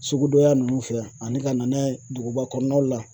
Sugudon ya nunnu fɛ yan ani ka na n'a ye duguba kɔnɔnaw la.